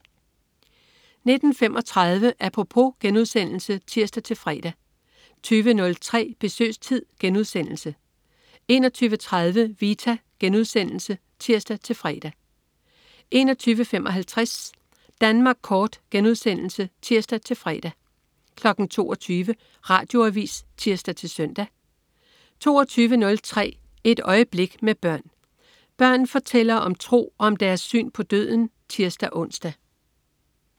19.35 Apropos* (tirs-fre) 20.03 Besøgstid* 21.30 Vita* (tirs-fre) 21.55 Danmark Kort* (tirs-fre) 22.00 Radioavis (tirs-søn) 22.03 Et øjeblik med børn. Børn fortæller om tro og om deres syn på døden (tirs-ons)